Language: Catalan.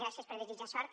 gràcies per desitjar me sort